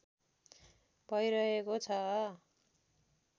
भइरहेको छ